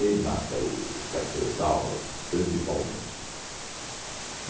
mata o cafezal a principalmente.